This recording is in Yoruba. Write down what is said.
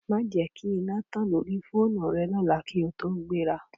Má jẹ kí iná tán lórí fóònù rẹ lọ́la kí ó tó gbéra